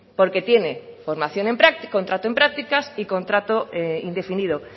porque tiene contrato en prácticas y contrato indefinido